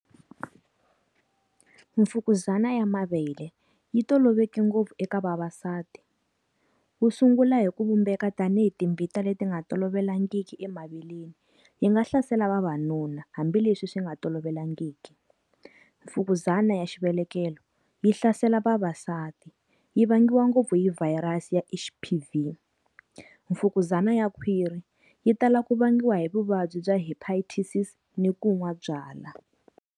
Mfukuzana ya mavele. Yi toloveleke ngopfu eka vavasati. Wu sungula hi ku vumbeka tanihi timbita leti nga tolovelekangiki emaveleni. Yi nga hlasela vavanuna, hambileswi swi nga tolovelekangiki. Mfukuzana ya xivelekelo, yi hlasela vavasati. Yi vangiwa ngopfu yi virus ya H_P_V. Mfukuzana ya khwiri, Yi tala ku vangiwa hi vuvabyi bya Hepatitis i ku nwa byalwa.